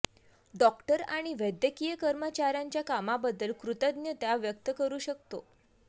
doctor आणि वैद्यकीय कर्मचाऱ्यांच्या कामाबद्दल कृतज्ञता व्यक्त करू शकतो